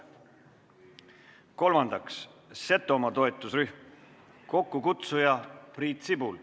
Kolmandaks, Setomaa toetusrühm, kokkukutsuja on Priit Sibul.